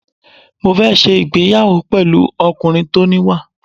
Mo fẹ́ ṣe ìgbéyàwó pẹ̀lú ọkùnrin tó níwà.